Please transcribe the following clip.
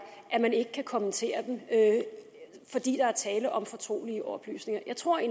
at man ikke kan kommentere dem fordi der er tale om fortrolige oplysninger jeg tror